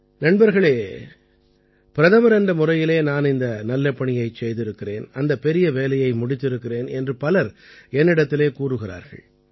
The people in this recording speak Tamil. நண்பர்களே பிரதமர் என்ற முறையிலே நான் இந்த நல்ல பணியைச் செய்திருக்கிறேன் அந்த பெரிய வேலையை முடித்திருக்கிறேன் என்று பலர் என்னிடத்திலே கூறுகிறார்கள்